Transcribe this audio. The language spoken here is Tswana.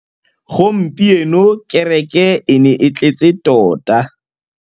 Gompieno kêrêkê e ne e tletse tota.